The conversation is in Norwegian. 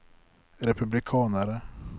republikanere